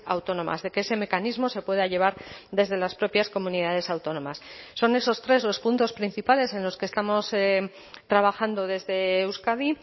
autónomas de que ese mecanismo se pueda llevar desde las propias comunidades autónomas son esos tres los puntos principales en los que estamos trabajando desde euskadi